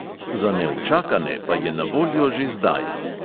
Za neučakane pa je na voljo že zdaj.